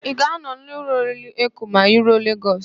Ị ga-anọ n'ụlọ oriri Eko ma I ruo Legọs?